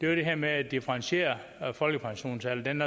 var det her med at differentiere folkepensionsalderen